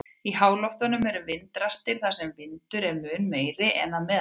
Í háloftunum eru vindrastir þar sem vindur er mun meiri en að meðaltali.